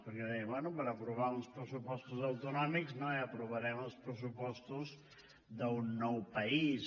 perquè deien bé per aprovar uns pressupostos autonòmics no aprovarem els pressupostos d’un nou país